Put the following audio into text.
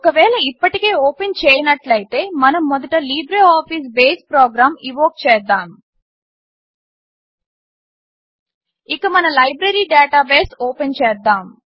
ఒక వేళ ఇప్పటికే ఓపెన్ చేయనట్లయితే మనము మొదట లిబ్రేఅఫీస్ బేస్ ప్రొగ్రామ్ ఇన్వోక్ చేద్దాము ఇక మన లైబ్రరి డాటాబేస్ ఓపెన్ చేద్దాము